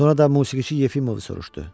Sonra da musiqiçi Yefimovu soruşdu.